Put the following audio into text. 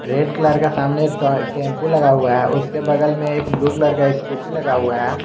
Red colour का सामने एक टेंपो लगा हुआ है उसके बगल में एक ब्लू कलर का स्कूटी लगा हुआ है।